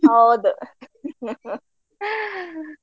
ಹೌದ್ .